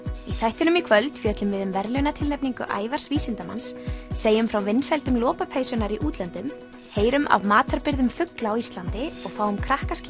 í þættinum í kvöld fjöllum við um verðlaunatilnefningu Ævars vísindamanns segjum frá vinsældum lopapeysunnar í útlöndum heyrum af matarbirgðum fugla á Íslandi og fáum